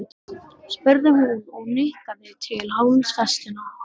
spurði hún og nikkaði til hálsfestanna.